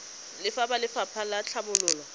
le ba lefapha la tlhabololo